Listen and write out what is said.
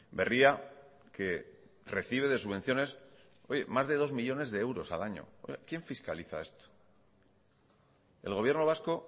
berria que recibe de subvenciones más de dos millónes de euros al año quién fiscaliza esto el gobierno vasco